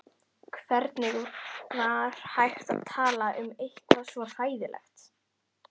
Hvernig var hægt að tala um eitthvað svo hræðilegt.